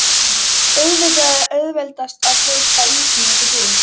Auðvitað er auðveldast að kaupa ísinn úti í búð.